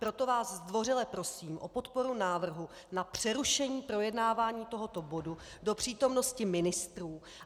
Proto vás zdvořile prosím o podporu návrhu na přerušení projednávání tohoto bodu do přítomnosti ministrů.